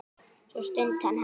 Svo stundi hann hátt.